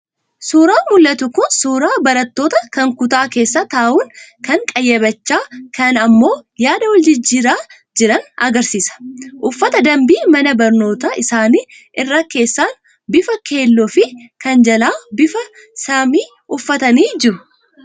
Suuraan mul'atu kun suuraa barattootaa kan kutaa keessa taa'uun, kaan qayyabachaa, kaan ammoo yaada wal-jijjiiraa jiran argisiisa. Uffata danbii mana barnootaa isaanii irra keessaan bifa keelloo fi kan jalaa bifa samii uffatanii jiru.